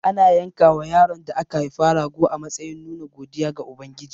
Ana yankawa yaron da aka haifa rago a matsayin nuna godiya ga Ubangiji.